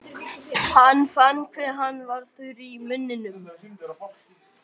Hann fann hve hann var þurr í munninum.